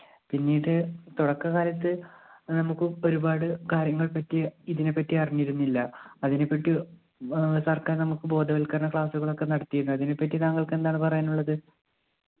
പിന്നീട് തൊടക്കകാലത്ത് നമ്മുക്ക് ഉപ്പ ഒരുപാട് കാര്യങ്ങളെപ്പറ്റി ഇതിനെപറ്റി അറിഞ്ഞിരുന്നില്ല അതിനെപ്പറ്റി സർക്കാർ നമ്മുക്ക് ബോധവൽക്കരണ class ഉകൾ ഒക്കെ നടത്തിരുന്ന് അതിനെപ്പറ്റി താങ്കൾക്ക് എന്താണ് പറയാനുള്ളത്